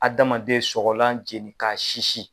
Adamaden sɔgɔlan jenin ka sisi